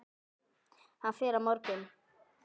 Hann fer á morgun.